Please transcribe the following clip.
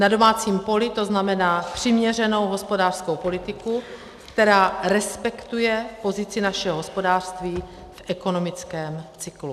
Na domácím poli to znamená přiměřenou hospodářskou politiku, která respektuje pozici našeho hospodářství v ekonomickém cyklu.